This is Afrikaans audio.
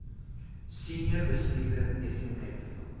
senior bestuurder smv